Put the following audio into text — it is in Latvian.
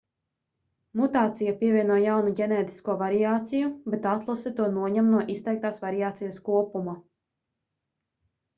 mutācija pievieno jaunu ģenētisko variāciju bet atlase to noņem no izteiktās variācijas kopuma